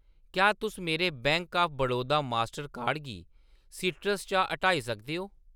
क्या तुस मेरे bank of Baroda master card गी सीट्रस चा हटाई सकदे ओ ?